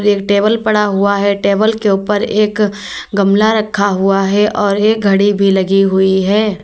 एक टेबल पड़ा हुआ है टेबल के ऊपर एक गमला रखा हुआ है और एक घड़ी भी लगी हुई है।